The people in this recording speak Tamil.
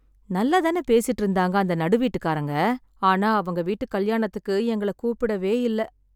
நல்லா தான் பேசிட்டு இருந்தாங்க அந்த நடுவீட்டுக்காரங்க, ஆனா அவங்க வீட்டுக் கல்யாணத்துக்கு எங்கள கூப்பிடவே இல்ல.